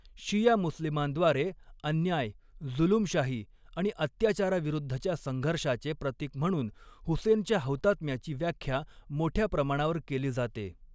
शिया मुस्लिमांद्वारे, अन्याय, जुलूमशाही आणि अत्याचाराविरुद्धच्या संघर्षाचे प्रतीक म्हणून, हुसेनच्या हौतात्म्याची व्याख्या मोठ्या प्रमाणावर केली जाते.